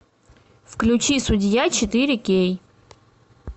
включи судья четыре кей